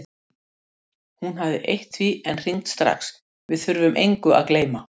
Hún hafði eytt því en hringt strax: Við þurfum engu að gleyma.